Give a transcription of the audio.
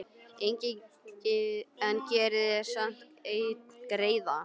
En gerið mér samt einn greiða.